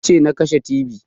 Ni ce na kashe tibi